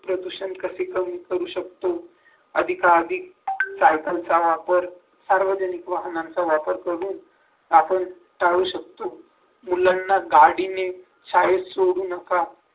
प्रदूषण कसे कमी करू शकतो अधिका अधिक सायकलचा वापर सार्वजनिक वाहनांचा वापर करून आपण टाळू शकतो मुलांना गाडीने शाळेत सोडू नका